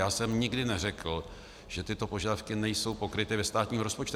Já jsem nikdy neřekl, že tyto požadavky nejsou pokryty ve státním rozpočtu.